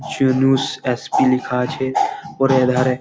Yunus SP. লেখা আছে ওর এধারে ।